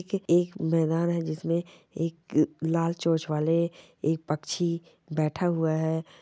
एक मैदान है जिसमें एक लाल चोच वाले एक पक्षी बैठा हुआ है।